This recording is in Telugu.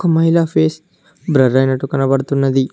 అమ్మాయిల ఫేస్ బ్రర్ అయినట్టు కనపడుతున్నది.